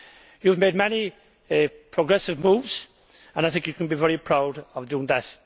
You have made many progressive moves and I think you can be very proud of doing that.